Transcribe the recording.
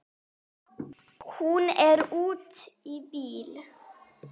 Hún er úti í bíl!